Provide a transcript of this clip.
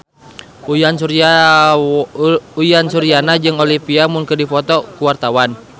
Uyan Suryana jeung Olivia Munn keur dipoto ku wartawan